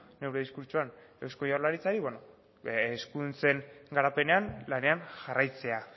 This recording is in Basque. neure diskurtsoan eusko jaurlaritzari eskuduntzen garapenean lanean jarraitzea